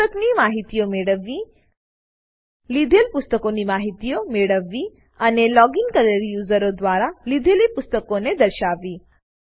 પુસ્તકની માહિતીઓ મેળવવી લીધેલ પુસ્તકની માહિતીઓ મેળવવી અને લોગીન કરેલ યુઝરો દ્વારા લીધેલી પુસ્તકોને દર્શાવવી